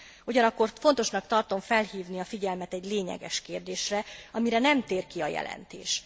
Ugyanakkor fontosnak tartom felhívni a figyelmet egy lényeges kérdésre, amire nem tér ki a jelentés.